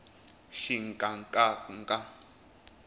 xinkankanka